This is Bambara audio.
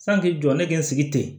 San k'i jɔ ne k'i n sigi ten